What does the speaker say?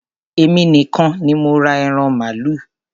Èmi nìkan ní mo ra ẹran màálù.